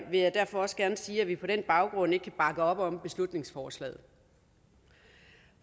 jeg derfor også gerne sige at vi på den baggrund ikke kan bakke op om beslutningsforslaget